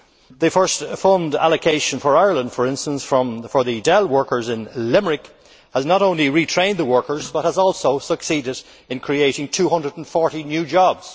The first fund allocation for Ireland, for instance, for the Dell workers in Limerick, has not only retrained the workers but has also succeeded in creating 240 new jobs.